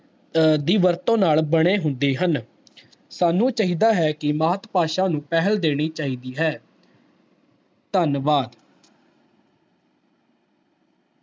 ਅਹ ਦੀ ਵਰਤੋਂ ਨਾਲ ਬਣੇ ਹੁੰਦੇ ਹਨ ਸਾਨੂੰ ਚਾਹੀਦਾ ਹੈ ਕਿ ਮਾਤ ਭਾਸ਼ਾ ਨੂੰ ਪਹਿਲ ਦੇਣੀ ਚਾਹੀਦੀ ਹੈ ਧੰਨਵਾਦ।